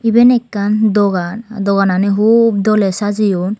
eben ekkan dogan doganani hup dole sajeyon.